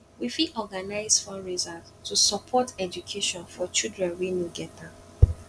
we fit organize fundraisers to support education for children wey no get am